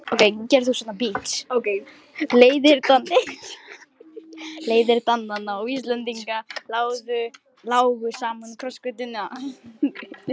Leiðir Dananna og Íslendinganna lágu saman á krossgötum.